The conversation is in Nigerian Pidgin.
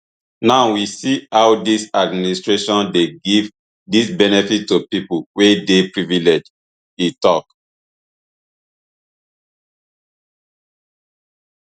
now we see how dis administration dey give dis benefits to pipo wey dey privileged e tok